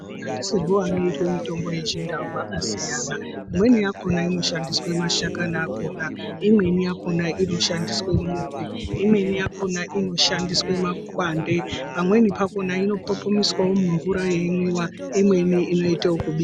Mashandisirwo anoitwe mitombo yechindau akasiyana .Imweni yakona inoshandiswa mashakani akona , imweni yakona inoshandiswa mudzi, imweni yakona inoshandiswa makwande ,pamweni pakona inopopomiswa mumvura yeimwiwa imweni inoite wokubikwa.